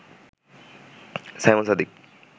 Simon Sadiq